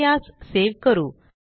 चला यास सेव करू